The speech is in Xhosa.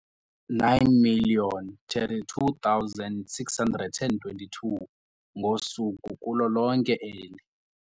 9 032 622 ngosuku kulo lonke eli.